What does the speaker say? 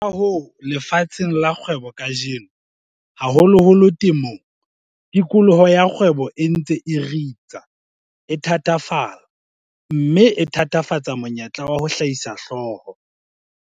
Ka hoo, lefatsheng la kgwebo kajeno, haholoholo temong, tikoloho ya kgwebo e ntse e ritsa, e thatafala, mme e thatafatsa monyetla wa ho hlahisa hlooho.